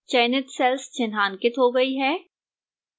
चयनित cells चिन्हांकित हो गई है